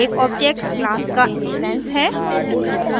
एक object class का instance है